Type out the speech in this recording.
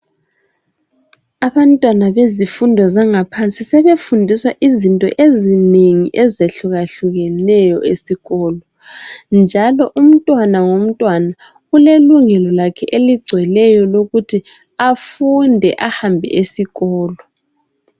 abantwana bezifundo zangaphansi sebefundiswa izinto ezinengi ezehlukahlukeneyo esikolo nalo umntwana ngomntwana ulelunglo lakhe eligcweleyo elokuthi afunde ahambe esikolo